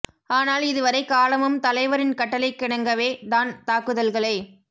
ஆனால் இது வரை காலமும் தலைவரின் கட்டளைக்கிணங்கவே தான் தாக்குதல்களை